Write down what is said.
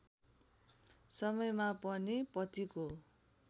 समयमा पनि पतिको